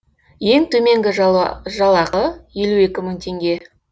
ең төменгі жалақы елу екі мың теңге